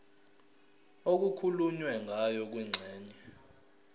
okukhulunywe ngayo kwingxenye